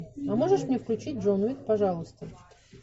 а можешь мне включить джон уик пожалуйста